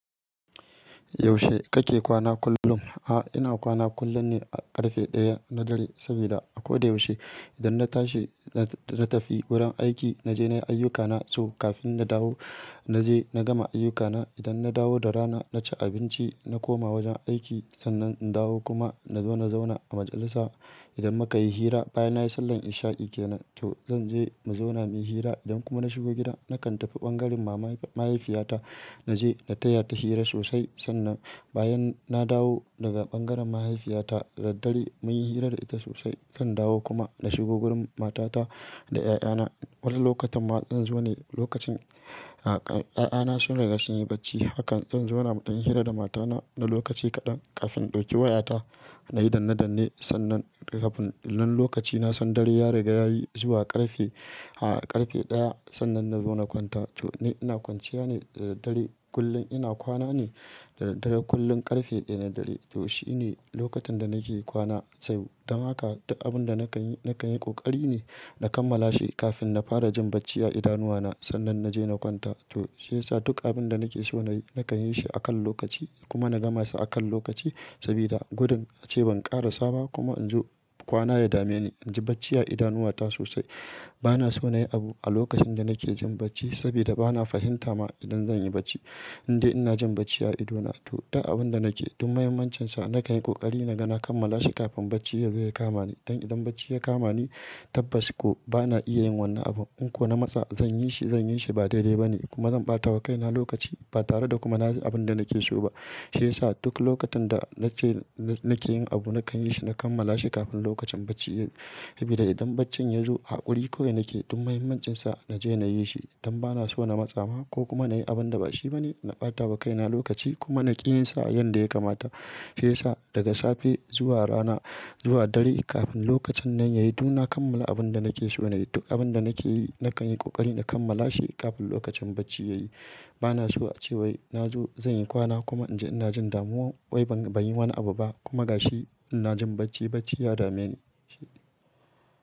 Yaushe kake kwana kullum? A'a, ina kwana kullum ne a ƙarfe ɗaya na dare saboda a koda yaushe idan na tashi na tafi wurin aiki, na je na yi ayyukana su kafin na dawo. Na je na gama ayyukana. Idan na dawo da rana na ci abinci, na koma wajen aiki sannan in dawo kuma nazo na zauna a majalisa. Idan muka yi hira, bayan na yi sallar isha'i ke nan to zan je mu zauna muyi hira idan kuma na shigo gida nakan tafi ɓangaren mahaifiyata na je na taya ta hira sosai sannan bayan na dawo daga ɓangaren mahaifiyata da dare muyi hirar da ita sosai zan dawo kuma na shigo wurin matata da 'ya'yana. Wani lokacin ma zan zo ne lokacin a kan 'ya'yana sun riga sun yi bacci hakan zan zo na ɗan hira da matana na lokaci kaɗan kafin in ɗauki wayata na yi danne danne sannan kafin nan lokaci na san dare ya riga yayi zuwa ƙarfe, a ƙarfe ɗaya sannan nazo na kwanta. To ne ina kwanciya ne da dare kullum ina kwana ne da dare kullum ƙarfe ɗaya na dare. To shine lokacin da nake kwana sai dama ka duk abun da nakan yi, nakan yi ƙoƙari ne na kammala shi kafin na fara jin bacci a idanuwana sannan na je na kwanta. To shi yasa duk abun da nake so na yi nakan yi shi akan lokaci kuma na gama shi akan lokaci sabida gudun ace ban ƙara saba kuma in zo kwana ya dame ni. In ji bacci ya yi idanuwata sosai. Bana so na yi abu a lokacin da nake jin bacci sabida bana fahimta ma idan zan yi bacci. Indai ina jin bacci ya yi idona to duk abun da nake, duk muhimmancinsa nakan yi ƙoƙari na gana kammala shi kafin bacci yazo ya kama ni. Don idan bacci ya kama ni tabbas ko bana iya yin wannan abun. In ko na matsa zan yi shi, zan yi shi ba daidai ba ne kuma zan ɓata wa kaina lokaci ba tare da kuma na yi abun da nake so ba. Shi yasa duk lokacin da nace nake yin abu nakan yi shi na kammala shi kafin lokacin bacci yayi sabida idan bacci yazo a ƙuri ko ina ke duk muhimmancinsa naje na yi shi don bana so na matsa ma ko kuma na yi abun da bashi ba ne na ɓata wa kaina lokaci kuma na ƙi yin sa yanda ya kamata. Shi yasa daga safe zuwa rana zuwa dare kafin lokacin nan yayi dukna kammala abun da nake so na yi. Duk abun da nake yi nakan yi ƙoƙari na kammala shi kafin lokacin bacci yayi. Bana so a ce wai nazo zan yi kwana kuma inji ina jin damuwa wai ban, ban yi wani abu ba kuma gashi ina jin bacci, bacci ya dame ni.